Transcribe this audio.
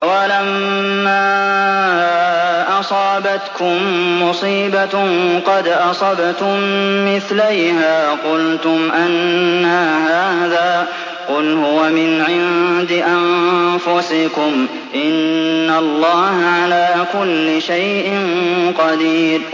أَوَلَمَّا أَصَابَتْكُم مُّصِيبَةٌ قَدْ أَصَبْتُم مِّثْلَيْهَا قُلْتُمْ أَنَّىٰ هَٰذَا ۖ قُلْ هُوَ مِنْ عِندِ أَنفُسِكُمْ ۗ إِنَّ اللَّهَ عَلَىٰ كُلِّ شَيْءٍ قَدِيرٌ